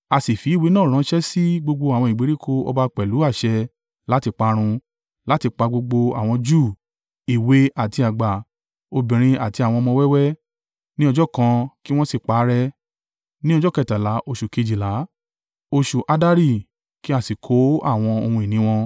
A sì fi ìwé náà ránṣẹ́ sí gbogbo àwọn ìgbèríko ọba pẹ̀lú àṣẹ láti parun, láti pa gbogbo àwọn Júù èwe àti àgbà, obìnrin àti àwọn ọmọ wẹ́wẹ́—ní ọjọ́ kan kí wọn sì parẹ́, ní ọjọ́ kẹtàlá oṣù kejìlá, oṣù Addari kí a sì kó àwọn ohun ìní wọn.